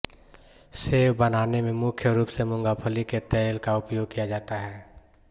save बनाने में मुख्य रूप से मूंगफली के तेल का उपयोग किया जाता हे